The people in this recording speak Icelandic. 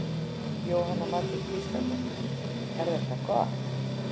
Jóhanna Margrét Gísladóttir: Er þetta gott?